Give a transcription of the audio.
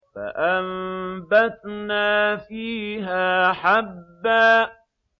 فَأَنبَتْنَا فِيهَا حَبًّا